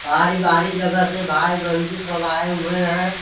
बाहरी बाहरी जगह से भाई बन्धु सब आए हुए हैं।